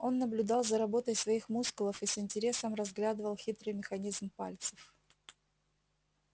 он наблюдал за работой своих мускулов и с интересом разглядывал хитрый механизм пальцев